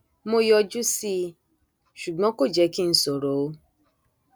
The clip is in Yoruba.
mo yọjú sí i ṣùgbọn kò jẹ kí n sọrọ o